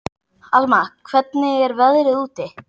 Alma, hvernig er veðrið úti?